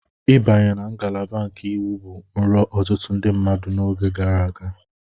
Ịbanye na ngalaba nke Iwu bụ nrọ ọtụtụ ndị mmadụ n'oge gara aga.